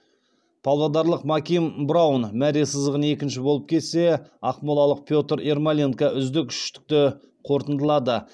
павлодарлық маким браун мәре сызығын екінші болып кессе ақмолалық петр ермоленко үздік үштікті қорытындылады